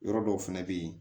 Yɔrɔ dɔw fɛnɛ bɛ yen